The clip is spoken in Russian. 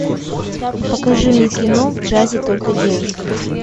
покажи мне кино в джазе только девушки